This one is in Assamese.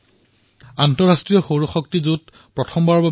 ভাৰতত আন্তৰ্জাতিক সৌৰ সহযোগিতাৰ প্ৰথম মহাসভাৰ আয়োজন কৰা হৈছে